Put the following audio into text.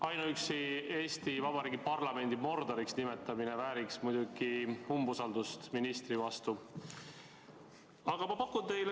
Ainuüksi Eesti Vabariigi parlamendi Mordoriks nimetamine vääriks muidugi ministrile umbusalduse avaldamist.